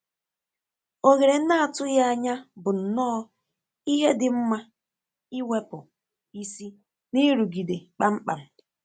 Ohere n’atụghị ànyà bụ nnọọ ihe dị mma iwepụ isi n’nrụgide kpamkpam.